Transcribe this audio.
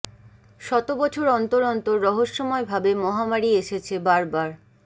শত বছর অন্তর অন্তর রহস্যময় ভাবে মহামারি এসেছে বারবার